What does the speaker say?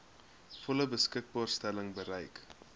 volle beskikbaarstelling bereik